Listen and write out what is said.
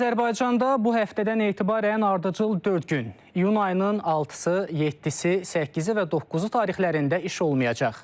Azərbaycanda bu həftədən etibarən ardıcıl dörd gün, iyun ayının 6-sı, 7-si, 8-i və 9-u tarixlərində iş olmayacaq.